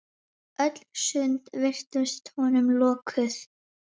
Öll sund virtust honum lokuð.